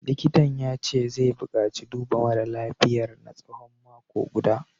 Likitan ya ce zai bukaci duba mara lafiyar na tsawon mako guda